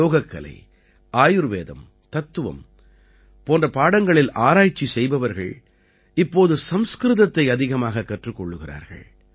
யோகக்கலை ஆயுர்வேதம் தத்துவம் போன்ற பாடங்களில் ஆராய்ச்சி செய்பவர்கள் இப்போது சம்ஸ்கிருதத்தை அதிகமாகக் கற்றுக்கொள்கிறார்கள்